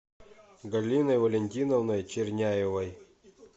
галиной валентиновной черняевой